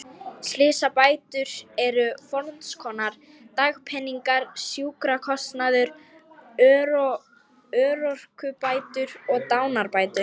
Slysabætur eru fernskonar: dagpeningar, sjúkrakostnaður, örorkubætur og dánarbætur.